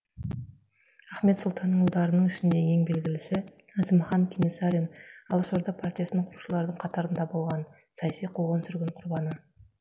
ахмет сұлтанның ұлдарының ішінде ең белгілісі әзімхан кенесарин алашорда партиясын құрушылардың қатарында болған саяси қуғын сүргін құрбаны